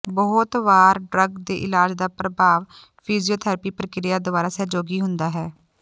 ਬਹੁਤ ਵਾਰ ਡਰੱਗ ਦੇ ਇਲਾਜ ਦਾ ਪ੍ਰਭਾਵ ਫਿਜ਼ੀਓਥਰੈਪੀ ਪ੍ਰਕਿਰਿਆ ਦੁਆਰਾ ਸਹਿਯੋਗੀ ਹੁੰਦਾ ਹੈ